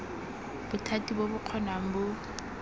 bothati bo bo kgonang bo